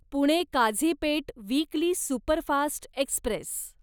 Pune Kazipet weekly superfast Express